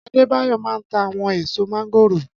Adébáyọ̀ maa ń ta àwọn ẹ̀ẹ̀so mángórò